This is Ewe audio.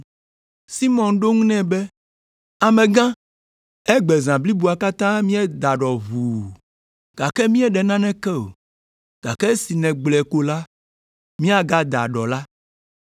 Simɔn ɖo eŋu nɛ be, “Amegã, egbe zã bliboa katã míeda ɖɔ ʋuu, gake míeɖe naneke o, gake esi nègblɔe ko la, míagada ɖɔ la.”